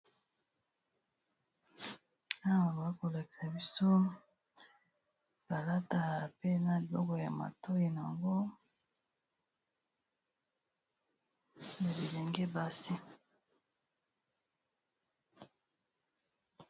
awa bazokolakisa biso balata pena liboko ya matoi na yango na bilenge basi